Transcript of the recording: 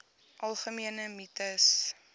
algemene mites